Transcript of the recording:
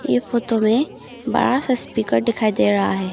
यह फोटो में बड़ा सा स्पीकर दिखाई दे रहा है।